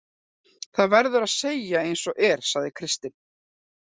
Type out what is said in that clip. Það verður að segja eins og er, sagði Kristinn.